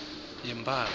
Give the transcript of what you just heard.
yempala